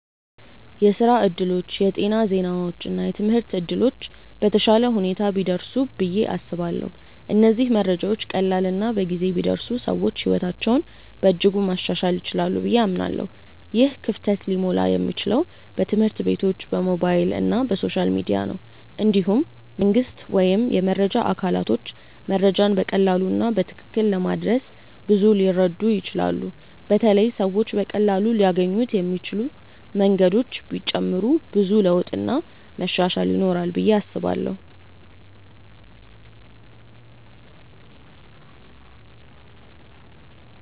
የስራ እድሎች፣ የጤና ዜናዎች እና የትምህርት እድሎች በተሻለ ሁኔታ ቢደርሱ ብዬ አስባለሁ። እነዚህ መረጃዎች ቀላል እና በጊዜ ቢደርሱ ሰዎች ሕይወታቸውን በእጅጉ ማሻሻል ይችላሉ ብዬ አምናለሁ። ይህ ክፍተት ሊሞላ የሚችለው በትምህርት ቤቶች፣ በሞባይል እና በሶሻል ሚዲያ ነው። እንዲሁም መንግስት ወይም የመረጃ አካላቶች መረጃን በቀላሉ እና በትክክል በማድረስ ብዙ ሊረዱ ይችላሉ በተለይ ሰዎች በቀላሉ ሊያገኙት የሚችሉ መንገዶች ቢጨመሩ ብዙ ለውጥ እና መሻሻል ይኖራል ብዬ አስባለው።